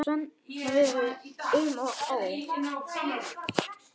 Svenna verður um og ó.